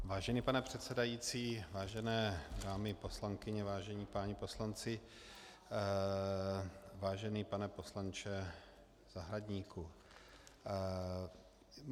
Vážený pane předsedající, vážené dámy poslankyně, vážení páni poslanci, vážený pane poslanče Zahradníku.